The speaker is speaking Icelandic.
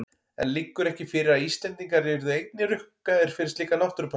En liggur ekki fyrir að Íslendingar yrðu einnig rukkaðir fyrir slíka náttúrupassa?